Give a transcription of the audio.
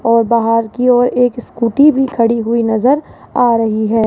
और बाहर की ओर एक स्कूटी भी खड़ी हुई नजर आ रही है।